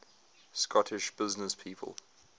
scottish businesspeople